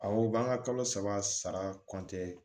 Awo b'an ka kalo saba sara